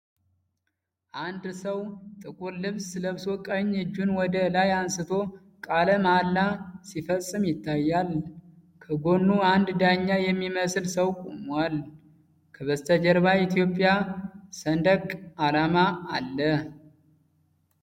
አንድ ሰው ጥቁር ልብስ ለብሶ ቀኝ እጁን ወደ ላይ አንስቶ ቃለ መሐላ ሲፈጽም ይታያል። ከጎኑ አንድ ዳኛ የሚመስል ሰው ቆሟል። ከበስተጀርባ የኢትዮጵያ ሰንደቅ ዓላማ አለ።